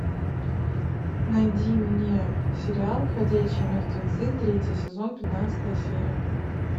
найди мне сериал ходячие мертвецы третий сезон пятнадцатая серия